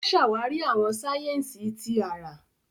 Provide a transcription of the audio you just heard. O ṣàwarí àwọn sáyẹ́nsì tí àrà.